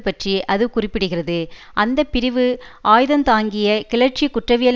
பற்றி அது குறிப்பிடுகிறது அந்த பிரிவு ஆயுதந்தாங்கிய கிளர்ச்சி குற்றவியல்